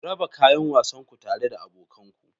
Raba kayan wasan ku tare da abokan ku.